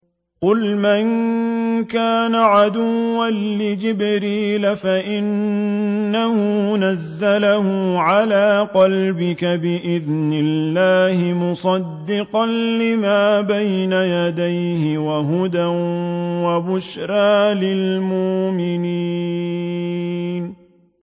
قُلْ مَن كَانَ عَدُوًّا لِّجِبْرِيلَ فَإِنَّهُ نَزَّلَهُ عَلَىٰ قَلْبِكَ بِإِذْنِ اللَّهِ مُصَدِّقًا لِّمَا بَيْنَ يَدَيْهِ وَهُدًى وَبُشْرَىٰ لِلْمُؤْمِنِينَ